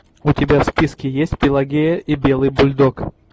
у тебя в списке есть пелагея и белый бульдог